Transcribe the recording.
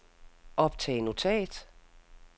optag notat